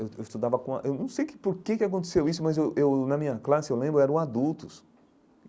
Eu eu estudava com a eu não sei que por que que aconteceu isso, mas eu eu na minha classe, eu lembro, eram adultos.